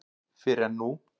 Fyrr en nú.